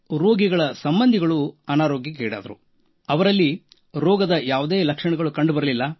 ರೋಗಿಗಳ ಕೆಲವು ಸಂಬಂಧಿಗಳು ಅನಾರೋಗ್ಯಕ್ಕೀಡಾದರು ಅವರಿಗೆ ರೋಗದ ಯಾವ ಲಕ್ಷಣಗಳು ಇರಲಿಲ್ಲ